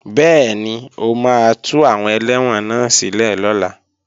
Bẹ́ẹ̀ni, o máa tú àwọn ẹlẹ́wọ̀n náà sílẹ̀ lọ́la